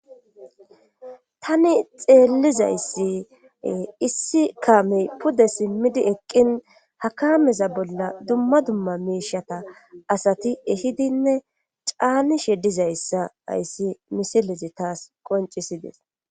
Tani xeellizayssi issi kaamey pude simmidi eqqin hakameza bolla dumma dumma miishata asati ehidinne caani she dizayssa ayssi misilezi taas qoncisides.